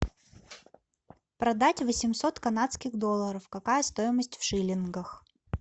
продать восемьсот канадских долларов какая стоимость в шиллингах